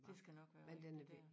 Det skal nok være rigtigt dér